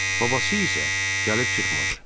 Babası isə gəlib çıxmadı.